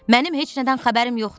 Mənim heç nədən xəbərim yoxdur.